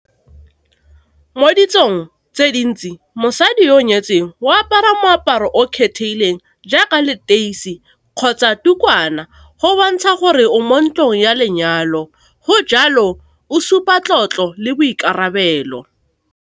Mo ditsong tse dintsi mosadi yo o nyetsweng o apara moaparo o kgethileng, jaaka leteisi kgotsa ditukwana go bontsha gore o mo ntlong ya lenyalo, go jalo o supa tlotlo le boikarabelo.